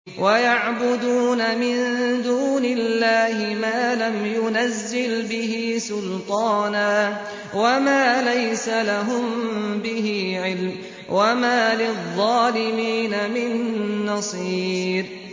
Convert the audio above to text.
وَيَعْبُدُونَ مِن دُونِ اللَّهِ مَا لَمْ يُنَزِّلْ بِهِ سُلْطَانًا وَمَا لَيْسَ لَهُم بِهِ عِلْمٌ ۗ وَمَا لِلظَّالِمِينَ مِن نَّصِيرٍ